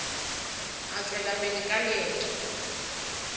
a tšwela pele ka leeto